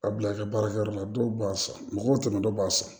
A bila ka baarakɛyɔrɔ la dɔw b'a san mɔgɔw tɛmɛnen dɔ b'a san